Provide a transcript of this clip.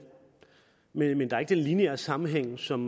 men der er ikke den lineære sammenhæng som